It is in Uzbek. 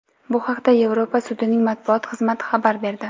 Bu haqda Yevropa sudining matbuot xizmati xabar berdi .